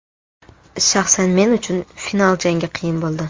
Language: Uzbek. Shaxsan men uchun final jangi qiyin bo‘ldi.